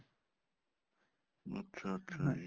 ਅੱਛਾ ਅੱਛਾ ਜੀ